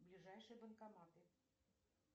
ближайшие банкоматы